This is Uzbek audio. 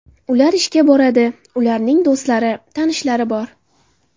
Ular ishga boradi, ularning do‘stlari, tanishlari bor.